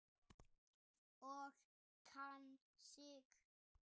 Og kann sig.